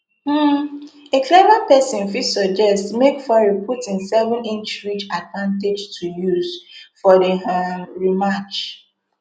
um a clever person fit suggest make fury put im seveninch reach advantage to use for di um rematch